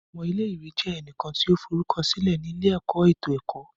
Ọmọ ile-iwe jẹ ẹnikan ti o forukọsilẹ ni ile-ẹkọ eto ẹkọ